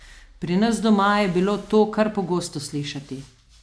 Pri nas doma je bilo to kar pogosto slišati.